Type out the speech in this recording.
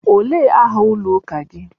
Olee aha ụlọ ụka gị?